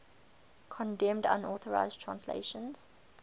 condemned unauthorized translations